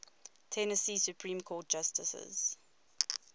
tennessee supreme court justices